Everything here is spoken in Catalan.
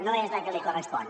no és la que li correspon